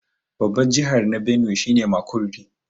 Babbar jiha na Benue shi ne Makurdi.